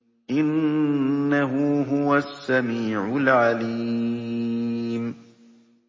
إِنَّهُ هُوَ السَّمِيعُ الْعَلِيمُ